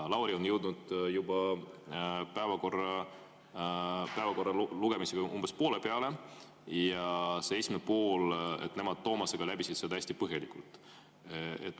Lauri on jõudnud päevakorra lugemisega umbes poole peale ja selle esimese poole nemad Toomasega läbisid hästi põhjalikult.